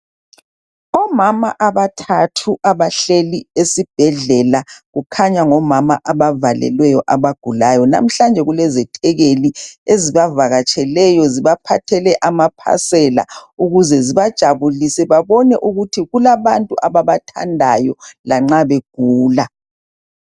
Omama abathathu abahleli esibhedlela kukhanya ngomama abavalelweyo abagulayo namuhlanje kulezethekeli ezibavakatseleyo zibaphathele amaphasela ukuze zibajabulise ukuthi babone ukuthi kulabantu ababathandayo lanxa begula.